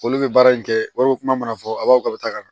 Olu bɛ baara in kɛ wari ko kuma fɔ a b'a fɔ k'aw bɛ taa ka na